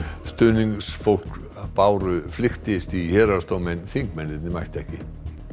stuðningsfólk Báru flykktist í héraðsdóm en þingmennirnir mættu ekki